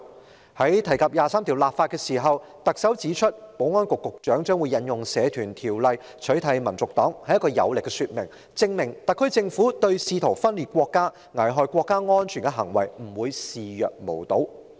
在提及就《基本法》第二十三條立法時，特首指出保安局局長引用《社團條例》取締香港民族黨是一項有力說明，證明特區政府對試圖分裂國家、危害國家安全的行為，不會視若無睹。